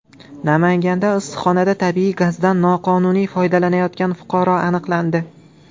Namanganda issiqxonada tabiiy gazdan noqonuniy foydalanayotgan fuqaro aniqlandi.